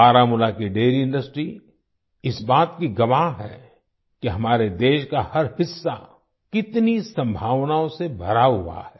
बारामूला की dairy industry इस बात की गवाह है कि हमारे देश का हर हिस्सा कितनी संभावनाओं से भरा हुआ है